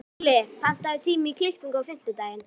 Júlli, pantaðu tíma í klippingu á fimmtudaginn.